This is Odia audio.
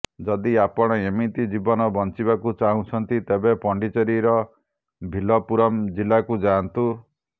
ଯଦି ଆପଣ ଏମିତି ଜୀବନ ବଞ୍ଚିବାକୁ ଚାହୁଁଛନ୍ତି ତେବେ ପଣ୍ଡିଚେରୀର ଭିଲ୍ଲପୁରମ ଜିଲ୍ଲାକୁ ଯାଆନ୍ତୁ